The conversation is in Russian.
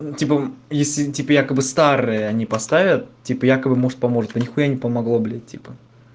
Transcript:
типа если типа якобы старые они поставят типа якобы может поможет да нихуя не помогло бля типа